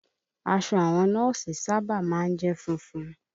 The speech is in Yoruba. Aṣọ àwọn nọ́ọ̀sì sábà má ń jẹ́ funfun